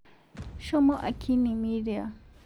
Shomo akini miria